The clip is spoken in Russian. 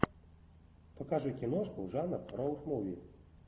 покажи киношку жанр роуд муви